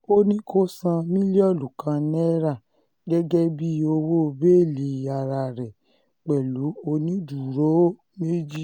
ó ní kó san mílíọ̀nù kan náírà gẹ́gẹ́ bíi owó bẹ́ẹ́lí ara rẹ̀ pẹ̀lú onídùúró méjì